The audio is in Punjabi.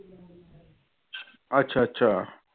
ਅੱਛਾ ਅੱਛਾ।